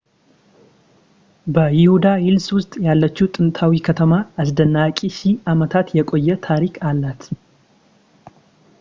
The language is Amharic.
በይሁዳ ሂልስ ውስጥ ያለችው ጥንታዊት ከተማ አስደናቂ ሺህ አመታት የቆየ ታሪክ አላት